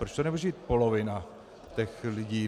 Proč to nemůže být polovina těch lidí?